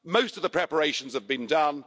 Most of the preparations have been done.